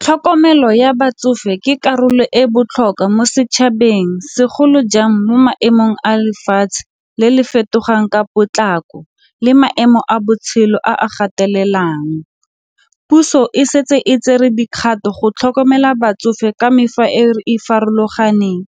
Tlhokomelo ya batsofe ke karolo e botlhokwa mo setšhabeng, segolo jang mo maemong a lefatshe le le fetogang ka potlako le maemo a botshelo a a gatelelang. Puso e setse e tsere dikgato go tlhokomela batsofe ka e farologaneng